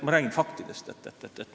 Ma räägin faktidest.